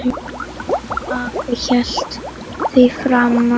Afi hélt því fram að